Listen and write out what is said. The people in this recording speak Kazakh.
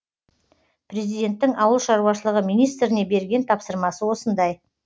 президенттің ауыл шаруашылығы министріне берген тапсырмасы осындай